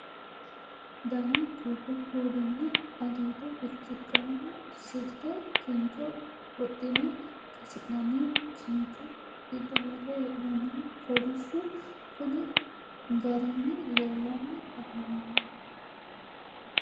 Danna goridu kuuli nna aliiddo biricci qaammu silitte kincho wodhinne qasi'nannihu kincho giddo worre hee'nonnihu kolishsho konni garinni leellanni affamanno